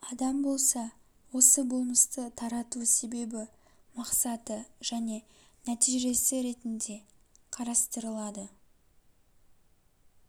адам болса осы болмысты тарату себебі мақсаты және де нәтижесі ретінде қарастырылады